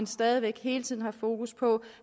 stadig væk hele tiden har fokus på